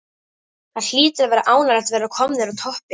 Það hlýtur að vera ánægjulegt að vera komnir á toppinn?